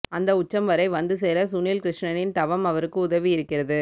அந்த உச்சம் வரை வந்துசேர சுனீல் கிருஷ்ணனின் தவம் அவருக்கு உதவியிருக்கிறது